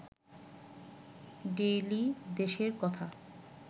daily দেশের কথা